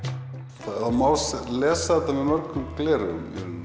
það má lesa þetta með mörgum gleraugum